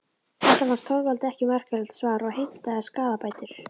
Þetta fannst Þorvaldi ekki merkilegt svar og heimtaði skaðabætur.